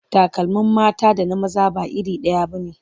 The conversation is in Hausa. Takalmin mata da na maza ba iri ɗaya ba ne.